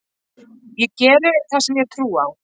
Ég geri það sem ég trúi á.